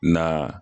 Na